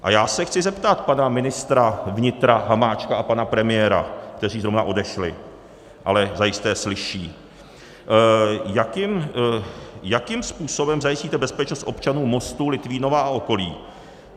A já se chci zeptat pana ministra vnitra Hamáčka a pana premiéra, kteří zrovna odešli, ale zajisté slyší: Jakým způsobem zajistíte bezpečnost občanů Mostu, Litvínova a okolí?